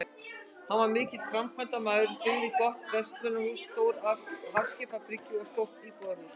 Hann var mikill framkvæmdamaður, byggði gott verslunarhús, stóra hafskipabryggju og stórt íbúðarhús.